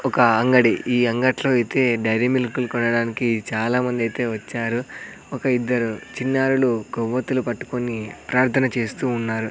ఒక అంగడి ఈ అంగట్లో అయితే డైరీ మిల్క్ లు కొనడానికి చాలామందైతే వచ్చారు ఒక ఇద్దరు చిన్నారులు కొవ్వొత్తులు పట్టుకొని ప్రార్థన చేస్తూ ఉన్నారు.